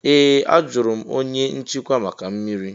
Ee! Ajụrụ m onye nchịkwa maka mmiri.